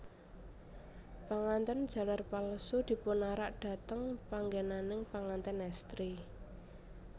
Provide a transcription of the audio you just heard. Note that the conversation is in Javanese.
Pangantèn jaler palsu dipunarak dhateng panggènaning pangantèn èstri